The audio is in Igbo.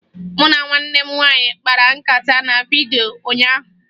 Mụ na nwanne m nwaanyị kpara nkata na vidyo ụnyaahụ